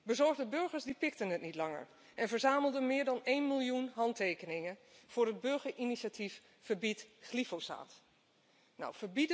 Bezorgde burgers pikten het niet langer en verzamelden meer dan één miljoen handtekeningen voor het burgerinitiatief Verbied glyfosaat!. Nou,